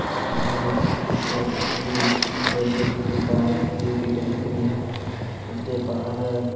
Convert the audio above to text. ये पिक किसी ए_टी_एम के बाहर की पिक दिख रही है जिसके बाहर --